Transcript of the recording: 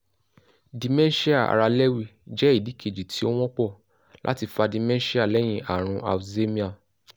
dementia ara le jẹ idi keji ti o wọnpọ̀ lati fa dementia lẹ́yìn ààrùn alzheimer